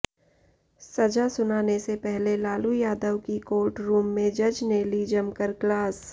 सजा सुनाने से पहले लालू यादव की कोर्ट रूम में जज ने ली जमकर क्लास